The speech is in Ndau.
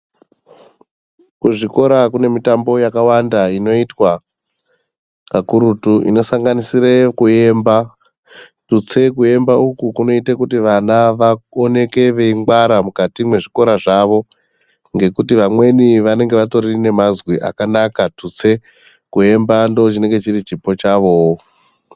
Kuzvikora kune mitambo yakawanda inoitwa kakurutu inosanganisire kuemba tutsei kuemba uku kunoite kuti vana vaoneke veingwara mukati mwezvikora zvawo ngekuti vamweni vanenge vatori nemazwi akanaka tutse kuemba ndochinenge chiri chipo chavooo.